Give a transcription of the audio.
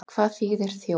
Hvað þýðir þjór?